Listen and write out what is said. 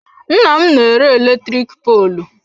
Nnam na-ere eletrik poolụ.